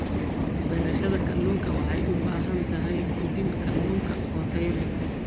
Beerashada kalluunka waxay u baahan tahay quudin kalluunka oo tayo leh.